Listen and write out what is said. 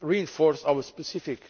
reinforce our specific